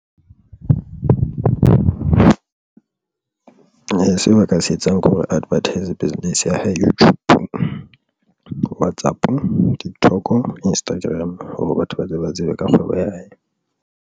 Seo ba ka se etsang ke hore Advert-se business ya hae YouTube, WhatsApp ke TikTok, Instagram hore batho ba tle ba tsebe ka kgwebo ya hae.